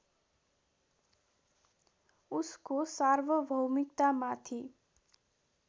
उसको सार्वभौमिकतामाथि